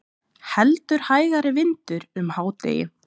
Heldur hægari vindur um hádegi